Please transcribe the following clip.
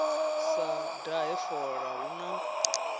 sa dahe fola hu na